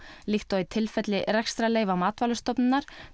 líkt og í tilfelli rekstrarleyfa Matvælastofnunar